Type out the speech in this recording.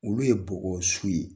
Olu ye bɔgɔ su ye.